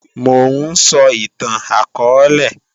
Mò ń sọ ìtàn akọọ́lẹ̀